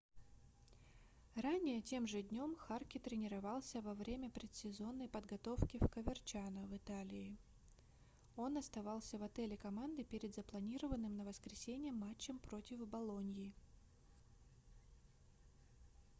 ранее тем же днем харке тренировался во время предсезонной подготовки в коверчано в италии он оставался в отеле команды перед запланированным на воскресенье матчем против болоньи